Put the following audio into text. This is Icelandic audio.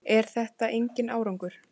Er þetta enginn árangur?